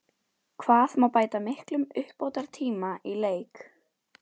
Hvað má bæta miklum uppbótartíma í leik?